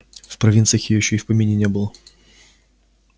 в провинциях её ещё и в помине не было